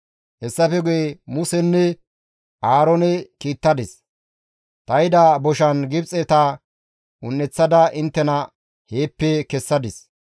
« ‹Hessafe guye Musenne Aaroone kiittadis; ta ehida boshan Gibxeta un7eththada inttena heeppe kessadis.